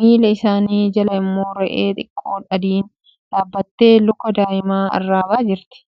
Miila isaanii jala immoo re'ee xiqqoo adiin dhaabattee luka daa'imaa arraabaa jirti.